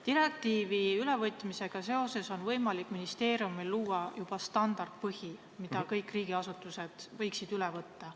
Direktiivi ülevõtmisega seoses on võimalik ministeeriumil luua juba standardpõhi, mille kõik riigiasutused võiksid üle võtta.